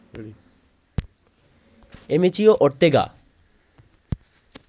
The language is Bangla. অ্যামেচিও ওর্তেগা